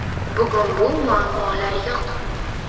Bugun bu muammolar yo‘q.